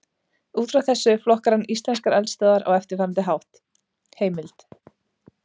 Út frá þessu flokkar hann íslenskar eldstöðvar á eftirfarandi hátt: Heimild: